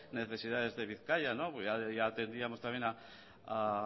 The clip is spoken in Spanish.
necesidades de bizkaia ya atendíamos también a